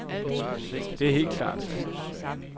Det er helt klart, sagde han.